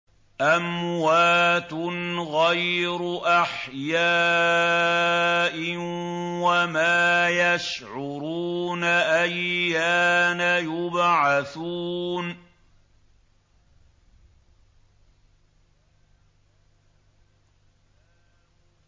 أَمْوَاتٌ غَيْرُ أَحْيَاءٍ ۖ وَمَا يَشْعُرُونَ أَيَّانَ يُبْعَثُونَ